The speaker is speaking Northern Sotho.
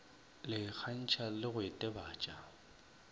le ikgakantšha le go itebatša